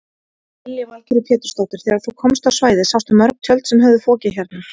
Lillý Valgerður Pétursdóttir: Þegar þú komst á svæðið sástu mörg tjöld sem höfðu fokið hérna?